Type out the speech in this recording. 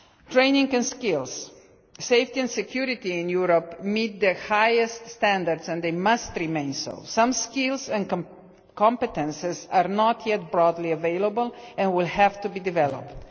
Training and skills and safety and security in Europe meet the highest standards, and they must continue to do so. Some skills and competences are not yet widely available and will have to be developed.